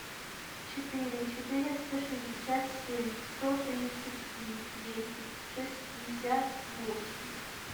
четыре четыреста шестьдесят семь сто тридцать три десять шестьдесят восемь